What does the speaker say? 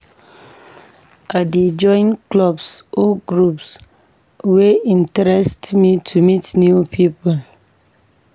I dey join clubs or groups wey interest me to meet new people.